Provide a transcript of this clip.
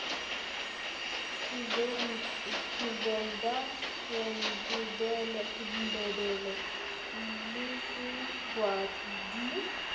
tshiveda sendebele le siswati di